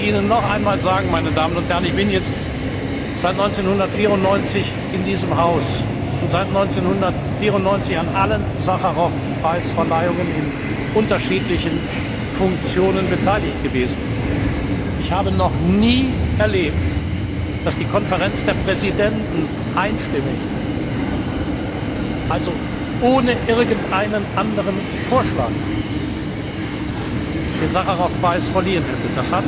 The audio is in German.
Ich möchte Ihnen noch einmal sagen, meine Damen und Herren ich bin jetzt seit 1994 in diesem Haus und seit 1994 an allen Sacharow Preisverleihungen in unterschiedlichen Funktionen beteiligt gewesen Ich habe noch nie erlebt, dass die Konferenz der Präsidenten einstimmig, also ohne irgendeinen anderen Vorschlag, den Sacharow Preis verliehen hätte!